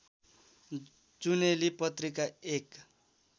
जुनेली पत्रिका एक